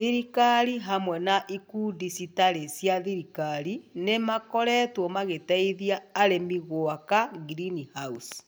Thirikari hamwe na ciũngano citarĩ cia thirikari nĩ makoretwo magĩteithia arĩmi guaka ngirinihaũci